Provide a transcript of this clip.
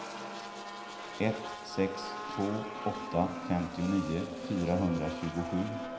ett sex två åtta femtionio fyrahundratjugosju